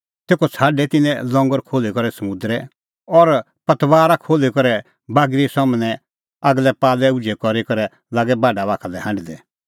तेखअ छ़ाडै तिन्नैं लंगर खोल्ही करै समुंदरै और पतबारा खोल्ही करै बागरी सम्हनै आगलै पाल उझै करी करै लागै बाढा बाखा लै हांढदै